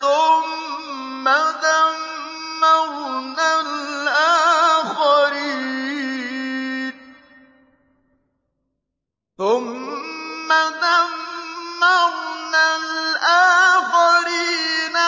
ثُمَّ دَمَّرْنَا الْآخَرِينَ